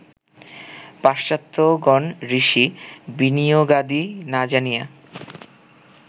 পাশ্চাত্ত্যগণ ঋষি বিনিয়োগাদি না জানিয়া